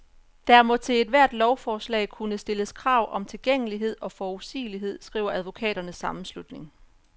Der må til ethvert lovforslag kunne stilles krav om tilgængelighed og forudsigelighed, skriver advokaternes sammenslutning.